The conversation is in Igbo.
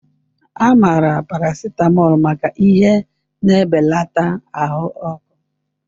A maara paracetamol maka ihe na-ebelata ahụ ọkụ.